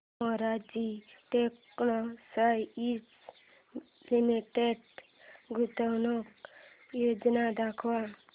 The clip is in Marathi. मोरारजी टेक्स्टाइल्स लिमिटेड गुंतवणूक योजना दाखव